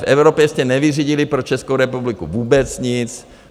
V Evropě jste nevyřídili pro Českou republiku vůbec nic.